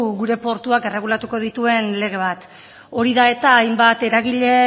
gure portuak erregulatuko dituen lege bat hori da eta hainbat eragilek